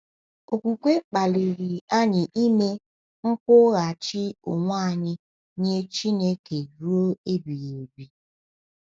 Okwukwe kpaliri anyị ime nkwụghachi onwe anyị nye Chineke ruo ebighị ebi.